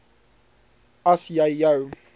as jy jou